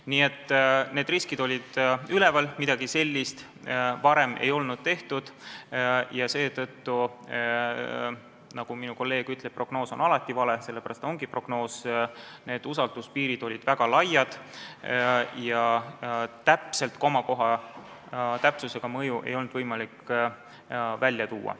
Nii et need riskid olid üleval, midagi sellist varem ei olnud tehtud ja seetõttu – nagu minu kolleeg ütleb, prognoos on alati vale, sellepärast ta ongi prognoos – olid need usalduspiirid väga laiad ja komakoha täpsusega ei olnud mõju võimalik välja tuua.